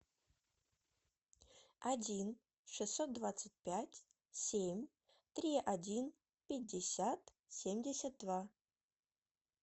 один шестьсот двадцать пять семь три один пятьдесят семьдесят два